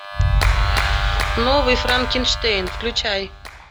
новый франкенштейн включай